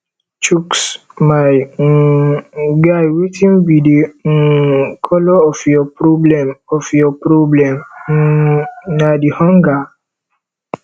chuks my um guy wetin be the um colour of your problem of your problem um na the hunger